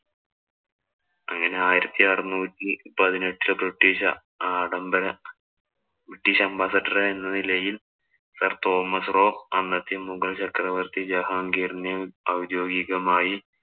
അങ്ങനെ ആയിരത്തി അറുനൂറ്റി പതിനെട്ടില്‍ ബ്രിട്ടീഷ് ആഡംബര ബ്രിട്ടീഷ് ambassidor ആയിരുന്ന ലെയില്‍, sir തോമസ്‌ റോ അന്നത്തെ മുഗള്‍ചക്രവര്‍ത്തി ജഹാംഗീറിനെ ഒദ്യോഗികമായി